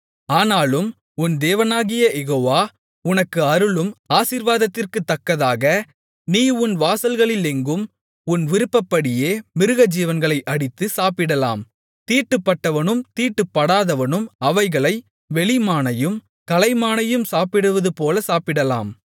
ஆனாலும் உன் தேவனாகிய யெகோவா உனக்கு அருளும் ஆசீர்வாதத்திற்குத்தக்கதாக நீ உன் வாசல்களிலெங்கும் உன் விருப்பப்படியே மிருகஜீவன்களை அடித்து சாப்பிடலாம் தீட்டுப்பட்டவனும் தீட்டுப்படாதவனும் அவைகளை வெளிமானையும் கலைமானையும் சாப்பிடுவதுபோல சாப்பிடலாம்